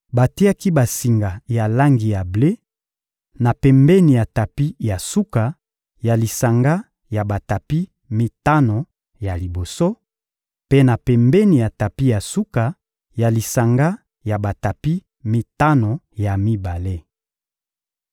Batiaki basinga ya langi ya ble, na pembeni ya tapi ya suka ya lisanga ya batapi mitano ya liboso, mpe na pembeni ya tapi ya suka ya lisanga ya batapi mitano ya mibale.